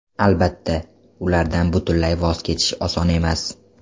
Albatta, ulardan butunlay voz kechish oson emas.